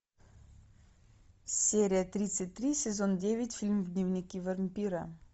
серия тридцать три сезон девять фильм дневники вампира